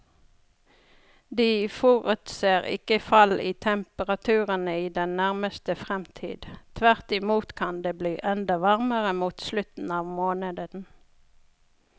De forutser ikke fall i temperaturene i den nærmeste fremtid, tvert imot kan det bli enda varmere mot slutten av måneden.